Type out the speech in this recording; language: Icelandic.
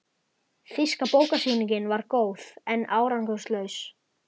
Þýska bókasýningin var góð, en árangurslaus.